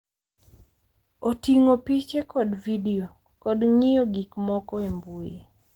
Oting’o piche kod vidio, kod ng’iyo gik moko e mbui.